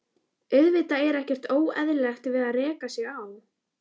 Auðvitað er ekkert óeðlilegt við það að reka sig á.